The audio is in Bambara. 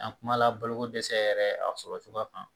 An kumala boloko dɛsɛ yɛrɛ a sɔrɔcogoya kan